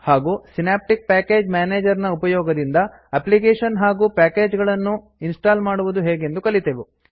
ಹಾಗೂ Synaptic package manager ನ ಉಪಯೋಗದಿಂದ ಅಪ್ಲಿಕೇಶನ್ ಹಾಗೂ ಪ್ಯಾಕೇಜ್ ಗಳನ್ನು ಇನ್ಸ್ಟಾಲ್ ಮಾಡುವುದು ಹೇಗೆಂದು ಕಲಿತೆವು